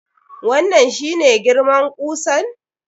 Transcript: Wannan shi ne girman kusan?